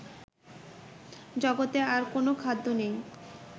জগতে আর কোনও খাদ্য নেই